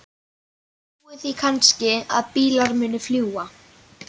Ég trúi því kannski að bílar muni fljúga.